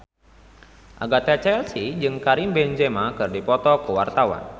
Agatha Chelsea jeung Karim Benzema keur dipoto ku wartawan